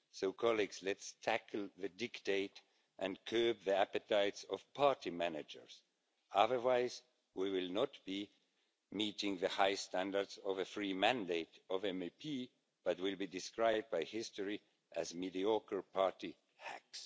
So, colleagues, let's tackle the diktat and curb the appetites of party managers. Otherwise, we will not be meeting the high standards of the free mandate of MEPs, but will be described by history as mediocre party hacks.